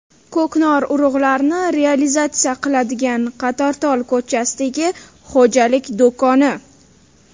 Ko‘knor urug‘larini realizatsiya qiladigan Qatortol ko‘chasidagi xo‘jalik do‘koni.